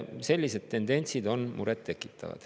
Sellised tendentsid on muret tekitavad.